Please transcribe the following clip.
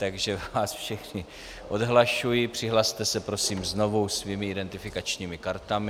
Takže vás všechny odhlašuji, přihlaste se prosím znovu svými identifikačními kartami.